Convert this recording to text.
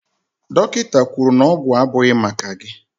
Dọkịta kwuru na ọgwụ abụghị maka gị